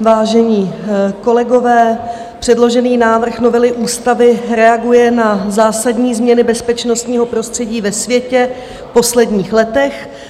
vážení kolegové, předložený návrh novely ústavy reaguje na zásadní změny bezpečnostního prostředí ve světě v posledních letech.